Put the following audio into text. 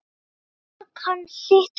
En það kann sitt fag.